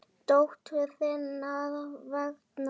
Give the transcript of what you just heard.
Dóttur þinnar vegna.